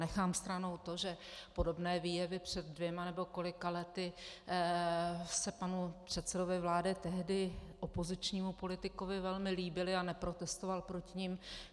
Nechám stranou to, že podobné výjevy před dvěma nebo kolika lety se panu předsedovi vlády, tehdy opozičnímu politikovi, velmi líbily a neprotestoval proti nim.